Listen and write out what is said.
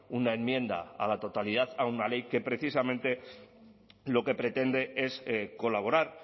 una enmienda a la totalidad a una ley que precisamente lo que pretende es colaborar